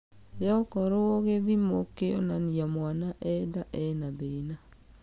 Yo okoro githimo kĩonania mwana e nda ena thĩna.